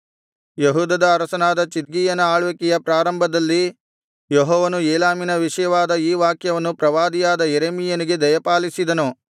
ಯೆಹೂದದ ಅರಸನಾದ ಚಿದ್ಕೀಯನ ಆಳ್ವಿಕೆಯ ಪ್ರಾರಂಭದಲ್ಲಿ ಯೆಹೋವನು ಏಲಾಮಿನ ವಿಷಯವಾದ ಈ ವಾಕ್ಯವನ್ನು ಪ್ರವಾದಿಯಾದ ಯೆರೆಮೀಯನಿಗೆ ದಯಪಾಲಿಸಿದನು